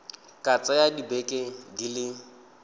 ka tsaya dibeke di le